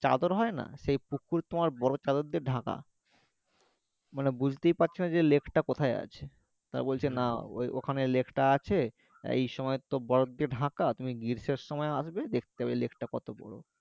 চাদর হয়না সেই পুকুর তোমার বরফ চাদর দিয়ে ঢাকা মানে বুঝতেই পারছোনা যে lake টা কোথায় আছে ওখানে বলছে না ওই ওইখানে lake টা আছে এই সময়তো বরফ দিয়ে ঢাকা তুমি গ্রীষ্মের সময় আসবে দেখতে পাবে lake টা কত বড়ো